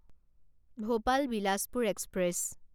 Bhopal Bilaspur express